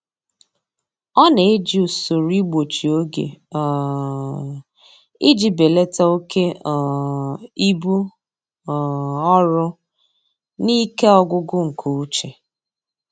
Ọ na-eji usoro igbochi oge um iji belata oke um ibu um ọrụ na ike ọgwụgwụ nke uche.